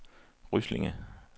Ryslinge